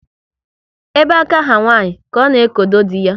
Ebe aka ha nwanyị ka ọ na ekodo dị ya